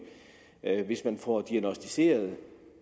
hvis man får diagnosticeret